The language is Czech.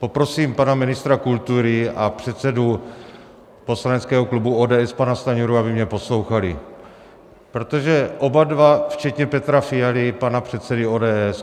Poprosím pana ministra kultury a předsedu poslaneckého klubu ODS pana Stanjuru, aby mě poslouchali, protože oba dva včetně Petra Fialy, pana předsedy ODS...